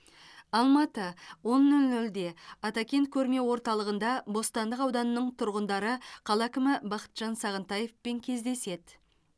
алматы он нөл нөлде атакент көрме орталығында бостандық ауданының тұрғындары қала әкімі бақытжан сағынтаевпен кездеседі